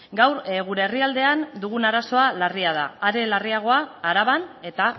gaur gure herrialdean dugun arazoa larria da are larriagoa araban eta